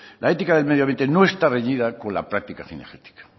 la ética del medio ambiente no está reñida con la práctica cinegética